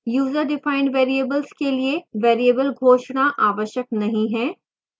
userdefined variables के लिए variable घोषणा आवश्यक नहीं है